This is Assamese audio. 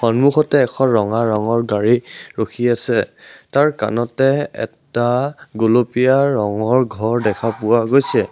সন্মুখতে এখন ৰঙা ৰঙৰ গাড়ী ৰখি আছে তাৰ কানতে এটা গুলপীয়া ৰঙৰ ঘৰ দেখা পোৱা গৈছে।